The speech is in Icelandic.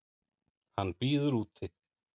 Hann bíður úti.